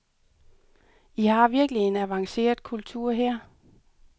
I har virkelig en avanceret kultur her.